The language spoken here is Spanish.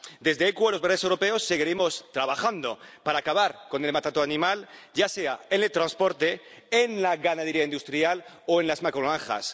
Desde Equo, los verdes europeos seguiremos trabajando para acabar con el maltrato animal, ya sea en el transporte, en la ganadería industrial o en las macrogranjas.